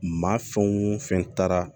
Maa fɛn wo fɛn taara